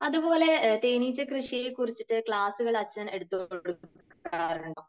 അതുപോലെ തേനീച്ച കൃഷിയെക്കുറിച്ച് ക്ലാസുകൾ അച്ഛൻ എടുത്തു കൊടുക്കാറുണ്ടോ?